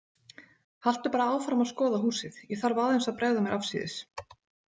Haltu bara áfram að skoða húsið, ég þarf aðeins að bregða mér afsíðis